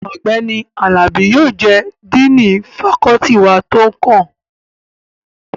Ọ̀gbẹ́ni Àlàbí yóò jẹ́ díìnì fakọ́ọ́tì wa tó kàn